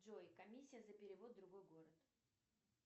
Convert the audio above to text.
джой комиссия за перевод в другой город